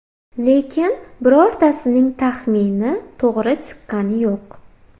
Lekin birortasining taxmini to‘g‘ri chiqqani yo‘q.